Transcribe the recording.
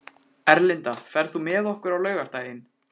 Erlinda, ferð þú með okkur á laugardaginn?